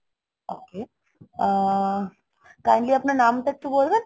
ok ah kindly আপনার নামটা একটু বলবেন?